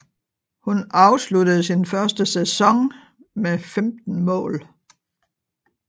Hun afsluttede sin første sæson med 15 mål